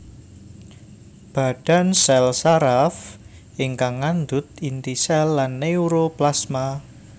Badan sèl saraf ingkang ngandhut inti sèl lan neuroplasma